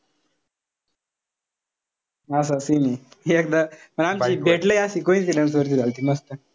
असा scene ए. एकदा आमची भेट लय अशी coincidence वरती झालती मस्त.